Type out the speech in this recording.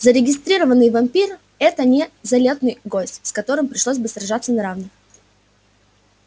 зарегистрированный вампир это не залётный гость с которым пришлось бы сражаться на равных